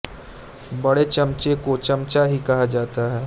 बड़े चमचे को चमचा ही कहा जाता है